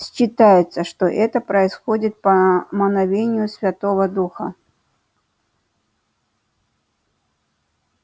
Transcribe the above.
считается что это происходит по мановению святого духа